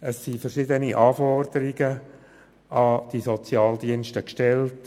Verschiedene Anforderungen werden an die Sozialdienste gestellt;